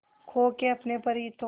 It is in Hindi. खो के अपने पर ही तो